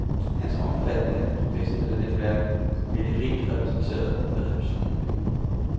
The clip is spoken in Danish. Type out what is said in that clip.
Hans omfattende professionelle netværk vil være rigt repræsenteret ved receptionen i morgen.